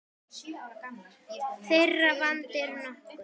Þeirra vandi er nokkur.